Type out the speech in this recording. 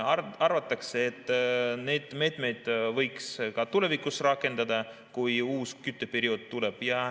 Arvatakse, et neid meetmeid võiks ka tulevikus rakendada, kui uus kütteperiood tuleb.